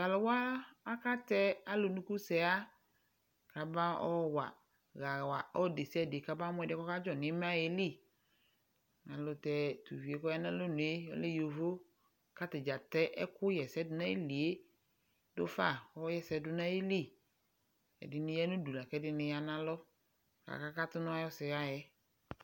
T'alʋwa akatɛ alʋnukusɛɣa k'abaɔ wa ɣawa ɔlʋ (desiade) kɔma mʋ ɛdɩɛ k'ɔkadzɔ n'imayɛ li Ayɛltɛ tuvie k'ɔya n'alɔnue ɔlɛ yovo; k'atadza ɛkʋ ɣɛsɛdʋ n'ayilie dʋfa kɔ ɣɛsɛ dʋ n'ayili Edɩnɩ ya n'udu lak'ɛdɩnɩ ya n'alɔ, k'aka katʋ n'ayɔsɛɣa yɛ